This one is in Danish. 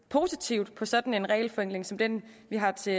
positivt på sådan en regelforenkling som den vi har til